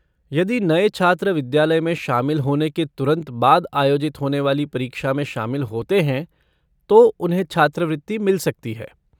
यदि नए छात्र विद्यालय में शामिल होने के तुरंत बाद आयोजित होने वाली परीक्षा में शामिल होते हैं तो उन्हें छात्रवृत्ति मिल सकती है।